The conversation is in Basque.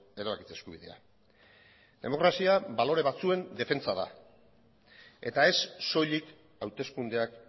erabakitze eskubidea demokrazia balore batzuen defentsa da eta ez soilik hauteskundeak